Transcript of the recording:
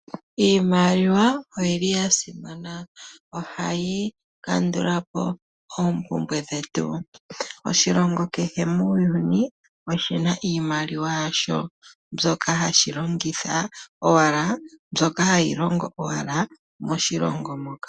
iimaliwa oya simana. Ohayi kandula po oompumbwe dhetu. Oshilongo kehe muuyuni oshi na iimaliwa yasho mbyoka hashi longitha, mbyoka hayi longo owala moshilongo moka.